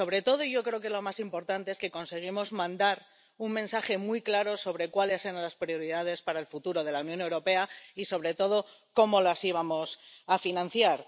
Y, sobre todo ―y yo creo que es lo más importante―, conseguimos mandar un mensaje muy claro sobre cuáles eran las prioridades para el futuro de la Unión Europea y, sobre todo, cómo las íbamos a financiar.